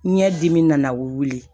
Ɲɛ dimi nana wuli